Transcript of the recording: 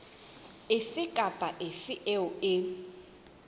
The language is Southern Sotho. efe kapa efe eo e